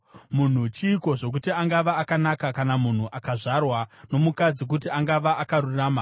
“Munhu chiiko, zvokuti angava akanaka, kana munhu akazvarwa nomukadzi, kuti angava akarurama?